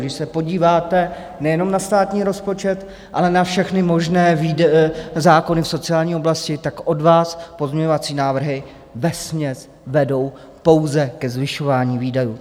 Když se podíváte nejenom na státní rozpočet, ale na všechny možné zákony v sociální oblasti, tak od vás pozměňovací návrhy vesměs vedou pouze ke zvyšování výdajů.